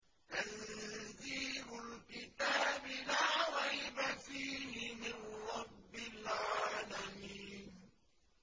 تَنزِيلُ الْكِتَابِ لَا رَيْبَ فِيهِ مِن رَّبِّ الْعَالَمِينَ